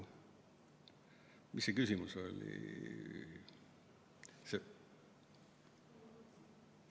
Mis see küsimus oli?